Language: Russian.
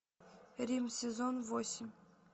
рим сезон восемь